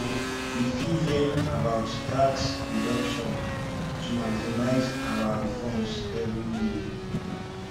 we fit learn about tax deductions to maximize our refunds every year